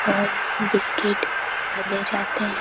और बिस्किट ले जाते हैं।